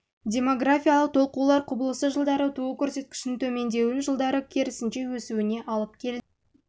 демографиялық толқулар құбылысы жылдары туу көрсеткішінің төмендеуін жылдары керісінше өсуіне алып келді